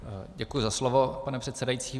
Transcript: Děkuji za slovo, pane předsedající.